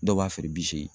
Dɔw b'a feere bi seegin